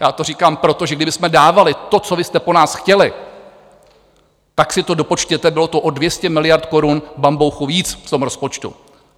Já to říkám proto, že kdybychom dávali to, co vy jste po nás chtěli, tak si to dopočtěte, bylo to o 200 miliard korun bambouchu víc v tom rozpočtu.